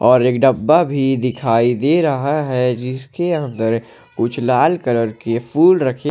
और एक डब्बा भी दिखाई दे रहा है जिसके अंदर कुछ लाल कलर के फूल रखें--